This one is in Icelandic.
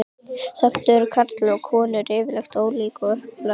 Samt eru karlar og konur yfirleitt ólík að upplagi.